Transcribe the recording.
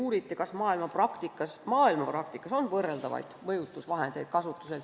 Uuriti, kas maailmapraktikas on võrreldavaid mõjutusvahendeid kasutusel.